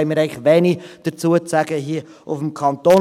dazu haben wir eigentlich wenig zu sagen hier im Kanton.